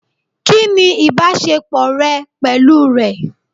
Kìnì ìbásepọ̀ rẹ pẹ̀lú rẹ̀?